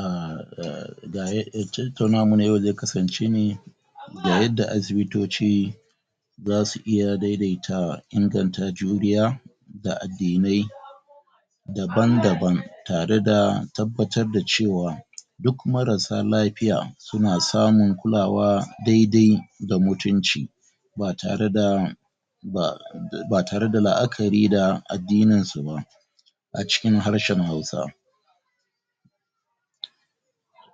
uhm tautaunawan namu ze kasance ne ga yada asibitoci za su iya daiaita inganta juriya da addinai daban-daban tare da tabbatar da cewa duk marasa lafiya suna samun kulawa daidai da mutunci ba tare da ba ba tare da la'akari da addininsu ba a cikin harshen hausa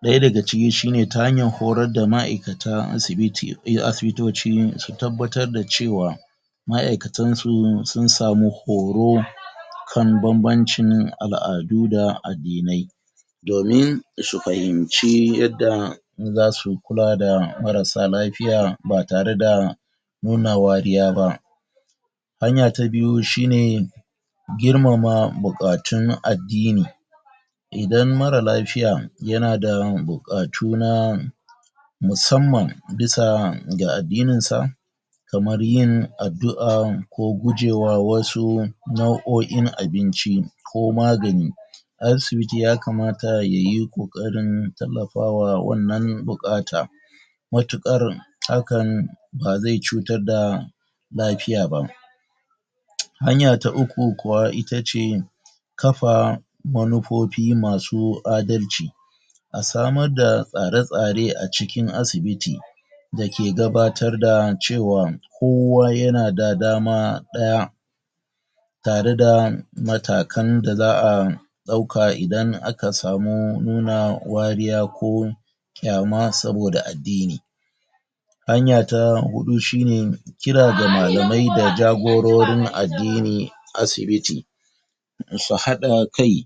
ɗaya daga cikin shine ta hanyar horar da maikata insu ta aibitoci su tabbatar da cewa maikatunsu sun samu horo kan bambancin al'adu da addinai domin su fahimci yadda zasu kula da marasa lafiya ba tare da nuna wariya ba hanya ta biyu shine girmama bukatun addini idan mara lafiya yana da bukatu na musamman bisa ga addinin sa kammar yin addu'a ko gujema wasu nau'oin abinci ko magani asibiti ya kamata yayi kokarin tallafa wa wannan bukata mutukar hakan ba ze cutar da lafiya ba hanya ta uku kuwa itace kafa manufofi masu adalci a sama da tsare-tsare a cikin asibiti da ke gabatar da cewa kowa yanada da dama ɗaya tare da matakan da za'a dauka idan aka samu nuna wariya ko kyama saboda addini hanya ta huɗu shine kira da malamai da jagororin addini asibiti su hadda kai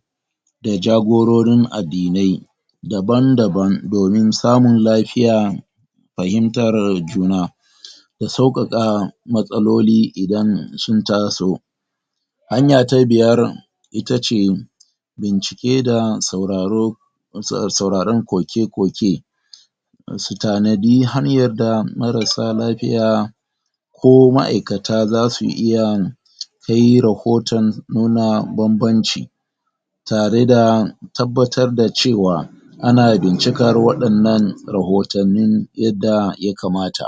da jagororin addinai daban-daban domin samun lafiya fahimtar juna da sukaka matsaloli idan sun taso hanya ta biyar itace bincike da sauraro sauraro koke-koke su tanadi hanyar da marasa lafiya ko maikata za su iya kai rohoton nuna bambanci tare da tabbatar da cewa ana bincikar wadannan rahotanni yadda ya kamata.